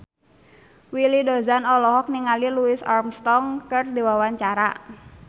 Willy Dozan olohok ningali Louis Armstrong keur diwawancara